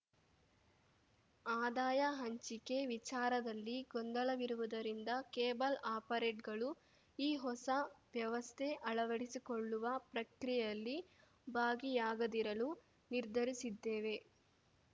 ಆದಾಯ ಹಂಚಿಕೆ ವಿಚಾರದಲ್ಲಿ ಗೊಂದಲವಿರುವುದರಿಂದ ಕೇಬಲ್‌ ಆಪರೇಟ್ಗಳು ಈ ಹೊಸ ವ್ಯವಸ್ಥೆ ಅಳವಡಿಸಿಕೊಳ್ಳುವ ಪ್ರಕ್ರಿಯೆಯಲ್ಲಿ ಭಾಗಿಯಾಗದಿರಲು ನಿರ್ಧರಿಸಿದ್ದೇವೆ